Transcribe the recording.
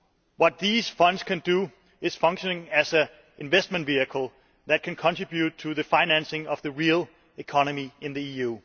What these funds can do is function as an investment vehicle that can contribute to the financing of the real economy in the EU.